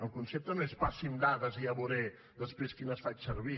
el concepte no és passin dades i ja veuré després quines faig servir